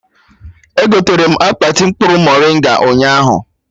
Egoterem akpati mkpụrụ moringa ụnyaahụ